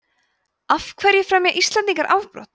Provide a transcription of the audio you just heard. af hverju fremja íslendingar afbrot